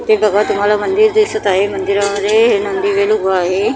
इथे बघा तुम्हाला मंदिर दिसत आहे मंदिरामध्ये हे नंदीबैल उभं आहे.